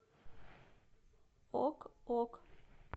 ок ок